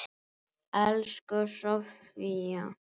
Elsku Sofía.